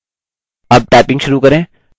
अब typing शुरू करें